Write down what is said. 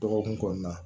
Dɔgɔkun kɔnɔna